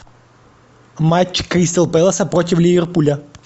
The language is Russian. матч кристал пэласа против ливерпуля